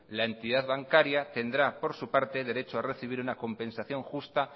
la entidad bancaria tendrá por su parte el derecho a recibir una compensación justa